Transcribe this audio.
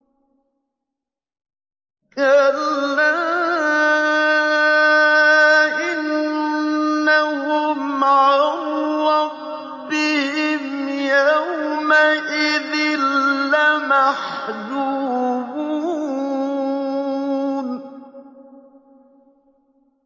كَلَّا إِنَّهُمْ عَن رَّبِّهِمْ يَوْمَئِذٍ لَّمَحْجُوبُونَ